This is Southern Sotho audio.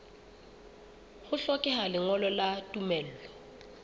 ho hlokeha lengolo la tumello